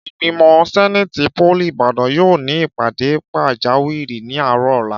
Ìgbìmò sẹ́néètì pólì Ìbàdàn yóò ní ìpàdé pàjáwìrì ní àárọ̀ ọ̀la